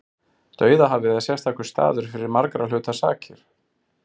Dauðahafið er sérstakur staður fyrir margra hluta sakir.